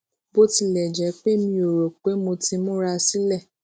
bó tilè jé pé mi ò rò pé mo ti múra sílè